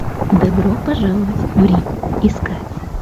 добро пожаловать в рим искать